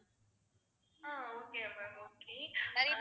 ah okay ma'am okay